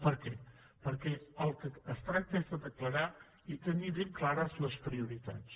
per què perquè del que es tracta és de declarar i tenir ben clares les prioritats